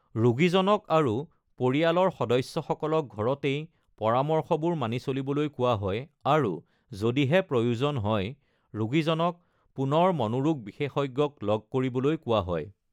ৰোগীজনক আৰু পৰিয়ালৰ সদস্যসকলক ঘৰতেই পৰামৰ্শবোৰ মানি চলিবলৈ কোৱা হয় আৰু যদিহে প্ৰয়োজন হয় ৰোগীজনক পুনৰ মনোৰোগ বিশেষজ্ঞক লগ কৰিবলৈ কোৱা হয়।